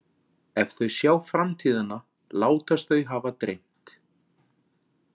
Ef þau sjá framtíðina látast þau hafa dreymt.